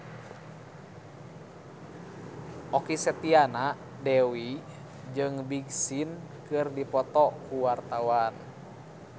Okky Setiana Dewi jeung Big Sean keur dipoto ku wartawan